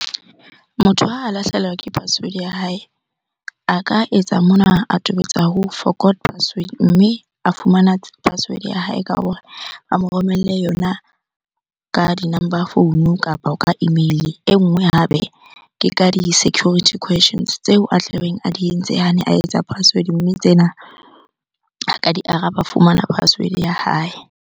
Motho ha a lahlehelwa ke password ya hae. A ka etsa mona, a tobetsa ho forgot password mme a fumana password ya hae ka hore a mo romelle yona ka di-number phone kapa ka email-e. E nngwe hape ke ka di-security questions tseo a tlabeng a di entse ha ne a etsa password, mme tsena a ka di araba, a fumana password ya hae.